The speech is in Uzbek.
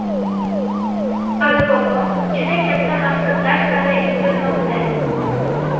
Alibobo juda katta maqsadlar sari intilmoqda.